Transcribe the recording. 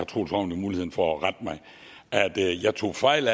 troels ravn jo muligheden for at rette mig at jeg tog fejl